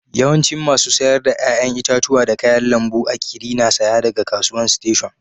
Yawancin masu sayar da yayan itatuwa da kayan lambu a'kiri na saya daga kasuwan station.